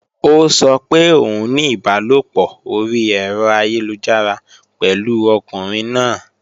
Ó sọ pé òun ní ìbálòpọ̀ orí ẹ̀rọ ayélujára pẹ̀lú ọkùnrin náà